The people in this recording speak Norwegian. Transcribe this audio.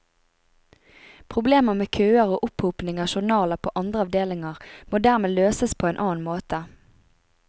Problemer med køer og opphopning av journaler på andre avdelinger må dermed løses på annen måte.